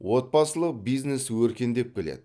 отбасылық бизнес өркендеп келеді